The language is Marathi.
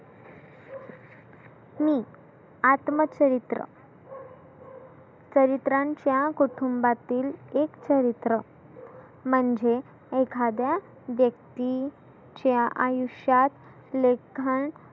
मी आत्मचरीत्र चरीत्रांच्या कुटुंबातील एक चरीत्र. म्हणजे एखाद्या व्यक्तीच्या आयुष्यात लेखन